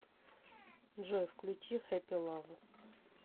джой включи хэппилав